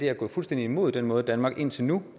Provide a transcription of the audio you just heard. er gået fuldstændig imod den måde danmark indtil nu